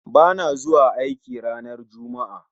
Bana zuwa aiki ranar Juma'a